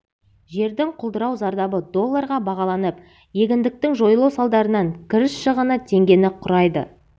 жердің құлдырау зардабы долларға бағаланып егіндіктің жойылу салдарынан кіріс шығыны теңгені құрайды